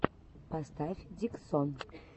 поставь диксон